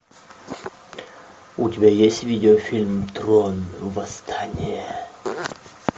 у тебя есть видеофильм трон восстание